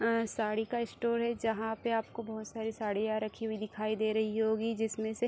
साड़ी का स्टोर है जहां पे आपको बोहोत सारी साड़ियां रखी हुई दिखाई दे रही होंगी जिसमे से --